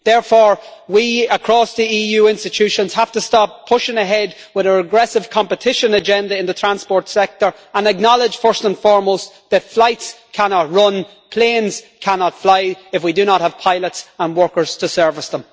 Therefore we across the EU institutions have to stop pushing ahead with our aggressive competition agenda in the transport sector and acknowledge first and foremost that flights cannot run and planes cannot fly if we do not have pilots and workers to service them.